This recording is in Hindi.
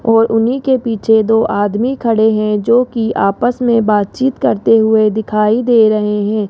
और उन्हीं के पीछे दो आदमी खड़े हैं जोकि आपस मे बातचीत करते हुए दिखाई दे रहे है।